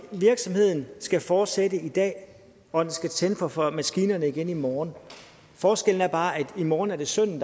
virksomheden skal fortsætte i dag og skal tænde for for maskinerne igen i morgen forskellen er bare at i morgen er der sønnen